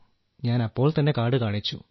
ഞാൻ അപ്പോൾ തന്നെ കാർഡ് കാണിച്ചു